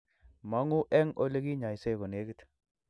Mang`u eng ole kinyaise ko negit